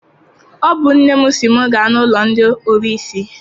Ọ bụ nne m sị m gaa n'ụlọ ndị ọrụsị.